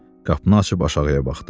Qapını açıb aşağıya baxdı.